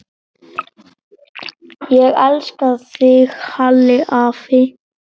Ég elska þig, Halli afi.